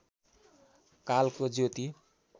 कालको ज्योति